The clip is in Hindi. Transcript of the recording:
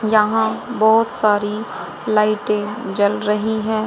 यहां बहोत सारी लाइटें जल रही हैं।